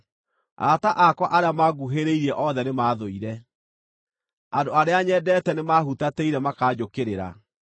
Arata akwa arĩa manguhĩrĩirie othe nĩmathũire; andũ arĩa nyendeete nĩmahutatĩire makaanjũkĩrĩra.